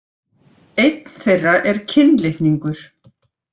Einn þeirra er kynlitningur.